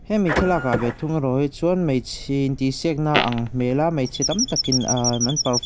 hemi thlalak ah ve thung erawh hi chuan hmeichhe intihsiakna a ang hmel a hmeichhe tam takin aa an perf--